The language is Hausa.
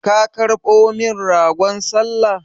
Ka karɓo min ragon sallah?